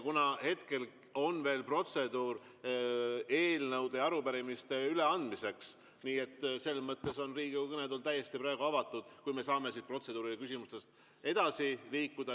Kuna hetkel on veel protseduur eelnõude ja arupärimiste üleandmiseks, siis selles mõttes on Riigikogu kõnetool täiesti avatud, kui me saame siit protseduurilistest küsimustest edasi.